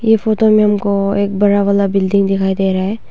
यह फोटो में हमको बड़ा वाला बिल्डिंग दिखाई दे रहा है।